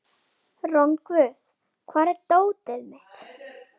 Rongvuð, hvar er dótið mitt?